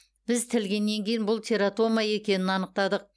біз тілгеннен кейін бұл тератома екенін анықтадық